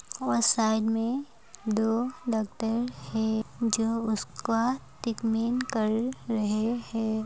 वह साइड में दो डॉक्टर है जो उसका ट्रिटमेंट कर रहे है।